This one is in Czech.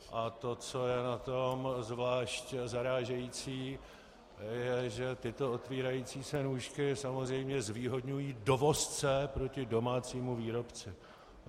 A to, co je na tom zvlášť zarážející, je, že tyto otevírající se nůžky samozřejmě zvýhodňují dovozce proti domácímu výrobci.